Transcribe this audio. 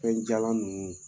Fɛn jalan ninnu.